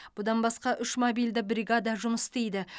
бұдан басқа үш мобильді бригада жұмыс істейді